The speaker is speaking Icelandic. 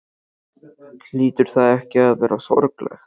Hlýtur það ekki að vera sorglegt?